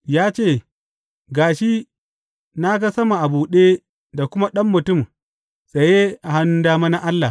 Ya ce, Ga shi, na ga sama a buɗe da kuma Ɗan Mutum tsaye a hannun dama na Allah.